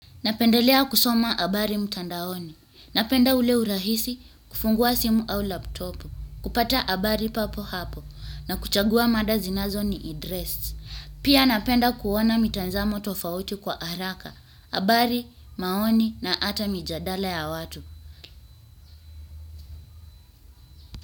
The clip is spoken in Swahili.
Napendelea kusoma habari mtandaoni. Napenda ule urahisi kufungua simu au laptop. Kupata habari papo hapo na kuchagua mada zinazo ni address. Pia napenda kuona mitazamo tofauti kwa haraka. Habari, maoni na hata mijadala ya watu.